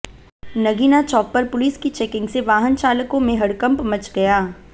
नगीना चौक पर पुलिस की चेकिंग से वाहन चालकों में हड़कंप मच गया